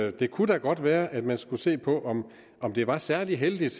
og det kunne da godt være at man skulle se på om det var særlig heldigt